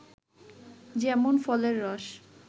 যেমন ফলের রস